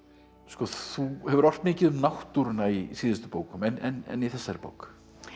þú hefur ort mikið um náttúruna í síðustu bókum en í þessari bók